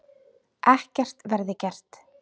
Ekkert verði gert.